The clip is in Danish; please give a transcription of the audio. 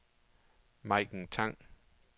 Maiken Tang